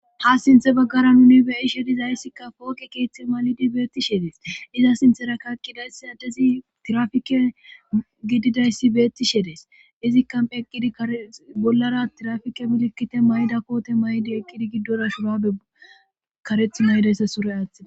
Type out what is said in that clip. ha sinthe baggara nuni beyishe dizayssikka pooqe keeththe malidi beetti shedees iza sinthera kakkidayssi adezi tirafike gididayssi beetti shedees izikka eqqidi krebollara tirafike bilkkite mayda koote may7di eqqidi giddora shurabe kareth maydayssa sure aaththida